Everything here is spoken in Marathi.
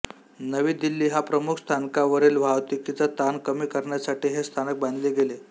नवी दिल्ली ह्या प्रमुख स्थानकावरील वाहतूकीचा ताण कमी करण्यासाठी हे स्थानक बांधले गेले